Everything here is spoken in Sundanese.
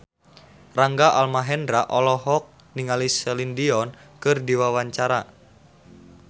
Rangga Almahendra olohok ningali Celine Dion keur diwawancara